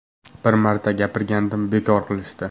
Bir marta gapirgandim, bekor qilishdi.